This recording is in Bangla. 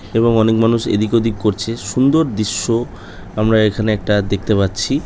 এবং অনেক মানুষ এদিক ওদিক করছে সুন্দর দৃশ্য আমরা এখানে একটা দেখতে পাচ্ছি ।